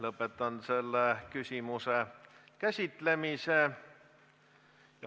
Lõpetan selle küsimuse käsitlemise.